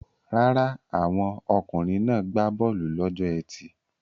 Rárá, àwọn ọkùnrin náà gbá bọ́ọ́lù lọ́jọ́ ẹtì.